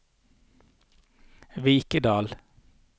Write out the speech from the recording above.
Vikedal